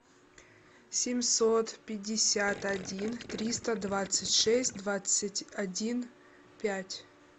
семьсот пятьдесят один триста двадцать шесть двадцать один пять